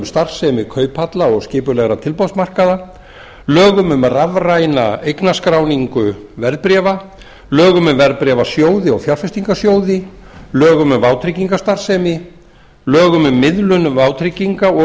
starfsemi kauphalla og skipulegra tilboðsmarkaða lögum um rafræna eignaskráningu verðbréfa lögum um verðbréfasjóði og fjárfestingarsjóði lögum um vátryggingastarfsemi lögum um miðlun vátrygginga og